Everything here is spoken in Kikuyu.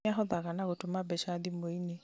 nĩahothaga na gũtũma mbeca thimuinĩ